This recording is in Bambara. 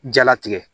Jalatigɛ